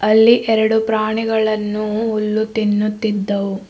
ಇಲ್ಲಿ ಎರಡು ಪ್ರಾಣಿಗಳನ್ನು ಹುಲ್ಲು ತಿನ್ನುತಿದ್ದವು.